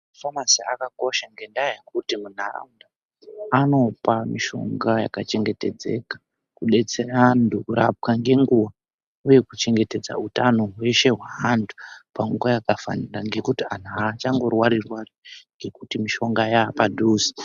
Mafamasi akakosha ngendaa yekuti munharaunda anopa mishonga yakachengetedzeka, kudetsera antu kurapwa ngenguwa, uye kuchengetedza utano hweshe hweantu panguwa yakafanira ngekuti antu aachango rwari-rwari ngekuti mishonga yaapadhuze.